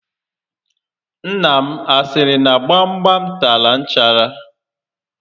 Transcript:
Nna m a siri na gbam gbam tara nchara?